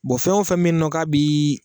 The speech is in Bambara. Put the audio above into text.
Bon fɛn o fɛn bɛ yen k'a bi